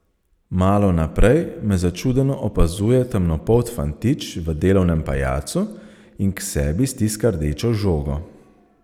Malo naprej me začudeno opazuje temnopolt fantič v delovnem pajacu in k sebi stiska rdečo žogo.